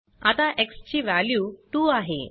आता एक्स ची वॅल्यू 2 आहे